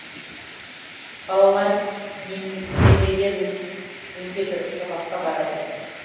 балалар немерелер өтеді сабаққа барады